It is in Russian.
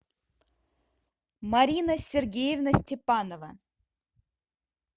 марина сергеевна степанова